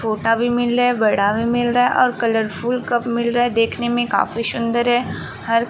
छोटा भी मिल रहा है। बड़ा भी मिल रहा है और कलरफुल कप मिल रहा है। देखने में काफी शुन्दर है। हर --